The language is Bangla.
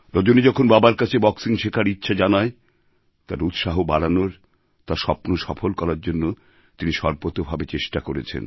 রজনী যখন বাবার কাছে বক্সিং শেখার ইচ্ছা জানায় তার উৎসাহ বাড়ানোর তার স্বপ্ন সফল করার জন্য তিনি সর্বতোভাবে চেষ্টা করেছেন